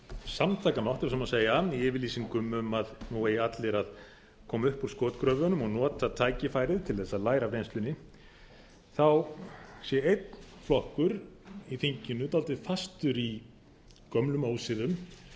samtakamátt ef svo má segja í yfirlýsingum um að nú eigi allir að koma upp úr skotgröfunum og nota tækifærið til þess að læra af reynslunni sé einn flokkur í þinginu dálítið fastur í gömlum ósiðum